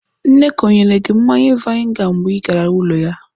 Nneka ọ nyere gị mmanya vainga mgbe ị gara ụlọ ya?